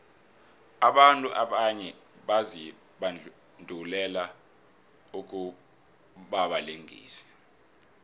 abantu abanye bazibandulele ukubabalingisi